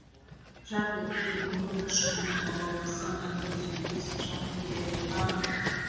жарқ еткен үміт ұшқыны алауласа мәңгі сөнбес жарық берері анық